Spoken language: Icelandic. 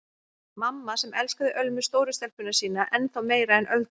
Mamma sem elskaði Ölmu stóru stelpuna sína ennþá meira en Öldu.